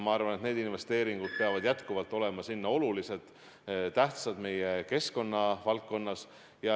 Ma arvan, et investeeringud peavad jätkuvalt olema olulised ja tähtsad keskkonnavaldkonnas.